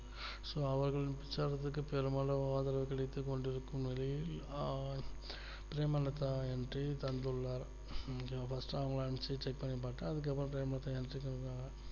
so அவர்கள் உற்சாகத்துக்கு பெரும்பாலும் ஆதரவு கிடைத்துக் கொண்டிருக்கும் நிலையில் பிரேமலதா entry தந்துள்ளார் இது first அவங்கள அனுப்பி check பண்ணி பார்த்தா அதுக்குஅப்றோம் payment entry பண்ணி இருக்காங்க